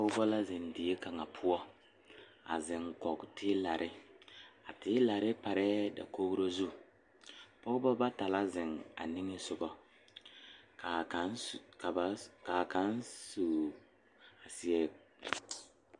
Dɔɔba mine la are ka bamine su kpare wogre ka bamine su kpare ziiri ka bamine su kpare sɔglɔ ka bamine seɛ kuri wogre ka ba de sabulɔ a tuŋ eŋ tene zie poɔ.